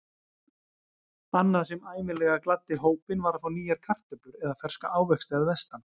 Annað sem ævinlega gladdi hópinn var að fá nýjar kartöflur eða ferska ávexti að vestan.